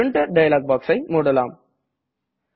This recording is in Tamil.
பிரின்டர் டயலாக் boxஐ முடலாம்